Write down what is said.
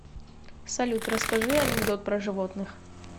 салют расскажи анекдот про животных